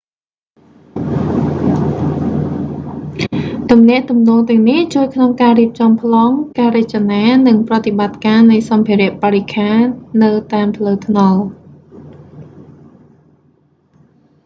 ទំនាក់ទំនងទាំងនេះជួយក្នុងការរៀបចំប្លង់ ការរចនា និងប្រតិបត្តិការនៃសម្ភារបរិក្ខារនៅតាមផ្លូវថ្នល់